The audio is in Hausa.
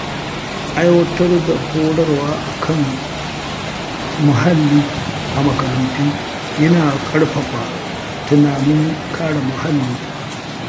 Aiwatar da horarwa kan kare muhalli a makarantu yana ƙarfafa tunanin kare muhalli.